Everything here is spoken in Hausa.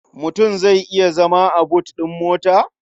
Mutum zai iya zama a but ɗin mota?